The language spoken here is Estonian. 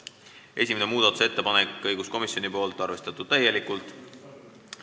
Esimene muudatusettepanek on õiguskomisjonilt, arvestatud täielikult.